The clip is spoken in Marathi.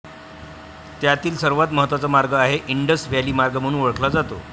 त्यातील सर्वात महत्वाचा मार्ग हा इंडस व्हॅली मार्ग म्हणून ओळखला जातो.